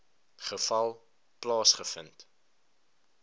geval plaasge vind